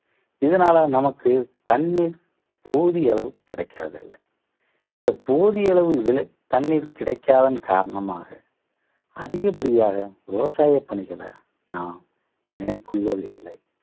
இதனால நமக்கு தண்ணீர் போதிய அளவு கிடக்கிறது இல்லை. இந்த போதிய அளவு விலை தண்ணீர் கிடைக்காதன் காரணமாக அதிகப்படியாக விவசாய பணிகளை நாம் மேற்கொள்வது இல்லை